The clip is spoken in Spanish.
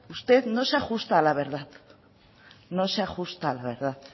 usted no se ajusta a la verdad no se ajusta a la verdad